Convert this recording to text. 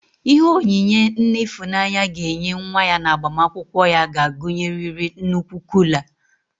Ihe onyinye nne Ịfụnanya ga-enye nwa ya n'agbamakwụkwọ ya ga-agụnyerịrị nnukwu kuula.